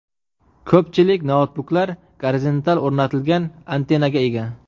Ko‘pchilik noutbuklar gorizontal o‘rnatilgan antennaga ega.